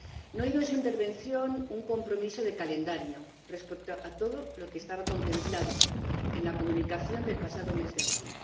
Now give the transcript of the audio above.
No he oído en su intervención un compromiso de calendario respecto a todo lo que estaba contemplado en la comunicación del pasado mes de abril.